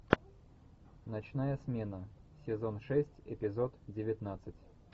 ночная смена сезон шесть эпизод девятнадцать